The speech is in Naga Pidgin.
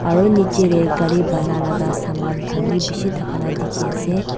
aru niche te gari bana laga saman khan bi bishi thaka la dikhi ase.